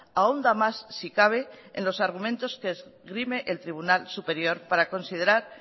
ahonda más si cabe en los argumentos que esgrime el tribunal superior para considerar